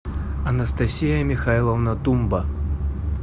анастасия михайловна тумба